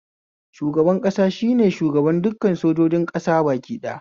Shugaban ƙasa shine shugaban dukkan sojojin ƙasa baki ɗaya